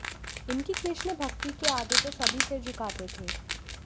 इनकी कृष्ण भक्ति के आगे तो सभी सिर झुकाते थे